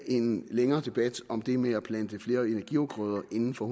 en længere debat om det med at plante flere energiafgrøder inden for